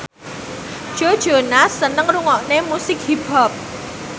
Joe Jonas seneng ngrungokne musik hip hop